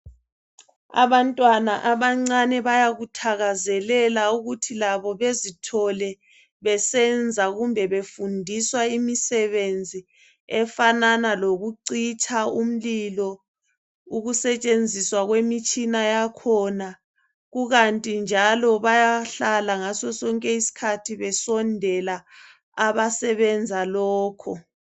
Abantwana abancane bayakuthakazelela ukuthi labo bezi thole besenza kumbe befundiswa imisebenzi efanana lokucitsha umlilo ,ukusetshenziswa kwemitshina yakhona .Kukanti njalo bayahlala ngasosonke iskhathi besondela abasebenza lokho .